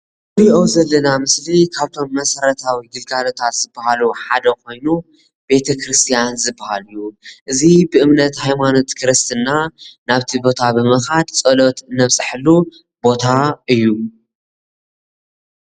እዚ እንሪኦ ዘለና ምስሊ ካብቶም መሰረታዊ ግልጋሎታት ዝባሃሉ ሓደ ኮይኑ ቤተክርስትያን ዝባሃል እዩ፡፡ እዚ ብእምነት ሃይማኖት ክርስትና ናብ እቲ ቦታ ብምካድ ፆሎት እነብፀሐሉ ቦታ እዩ፡፡